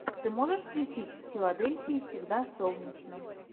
ты можешь включить в филадельфии всегда солнечно